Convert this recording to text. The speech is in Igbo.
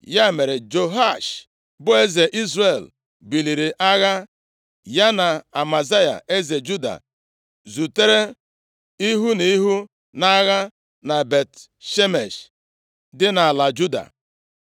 Ya mere, Jehoash bụ eze Izrel buliri agha. Ya na Amazaya eze Juda zutere ihu na ihu nʼagha na Bet-Shemesh, dị nʼala Juda.